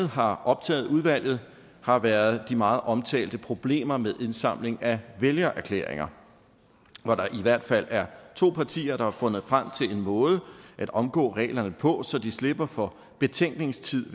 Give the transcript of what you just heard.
har optaget udvalget har været de meget omtalte problemer med indsamling af vælgererklæringer hvor der i hvert fald er to partier der har fundet frem til en måde at omgå reglerne på så de slipper for betænkningstid